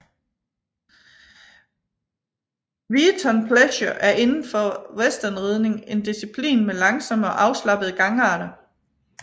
Weatern pleasure er inden for westernridning en disciplin med langsomme og afslappede gangarter